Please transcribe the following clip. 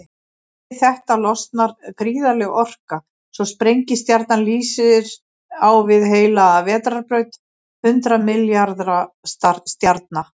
Við þetta losnar gríðarleg orka, svo sprengistjarnan lýsir á við heila vetrarbraut hundrað milljarða stjarna.